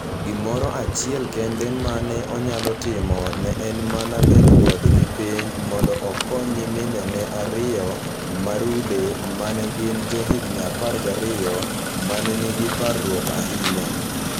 Gimoro achiel kende ma ne onyalo timo ne en mana bedo kodgi piny mondo okony nyiminene ariyo ma rude ma ne gin johigini 12 ma ne nigi parruok ahinya.